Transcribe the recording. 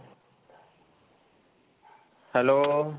hello.